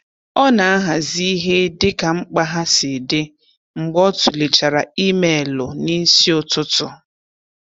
Ọ na-ahazị ihe dịka mkpa ha si dị mgbe o tụlechara imeelụ n'isi ụtụtụ.